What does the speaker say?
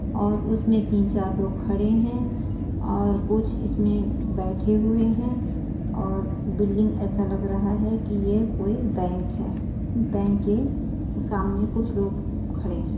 और उसमें तीन चार लोग खड़े हैं और कुछ इसमें बैठे हुए हैं और बिल्डिंग ऐसा लग रहा है कि यह कोई बैंक है। बैंक के सामने कुछ लोग खड़े हैं।